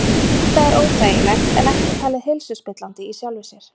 Þetta er óþægilegt en ekki talið heilsuspillandi í sjálfu sér.